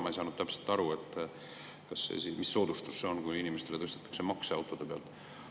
Ma ei saanud täpselt aru, mis soodustus see on, kui tõstetakse makse autode pealt.